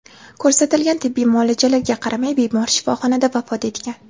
Ko‘rsatilgan tibbiy muolajalarga qaramay bemor shifoxonada vafot etgan.